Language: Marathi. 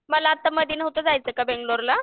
मला आता मधी नव्हतं का जायचं बेंगलोरला.